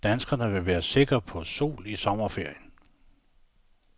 Danskerne vil være sikre på sol i sommerferien.